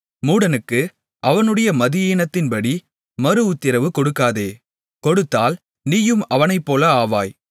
மூடனுக்கு அவனுடைய மதியீனத்தின்படி மறுஉத்திரவு கொடுக்காதே கொடுத்தால் நீயும் அவனைப்போல ஆவாய்